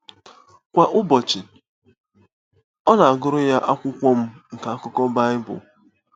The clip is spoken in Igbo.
Kwa ụbọchị, ọ na-agụrụ ya Akwụkwọ M nke Akụkọ Bible.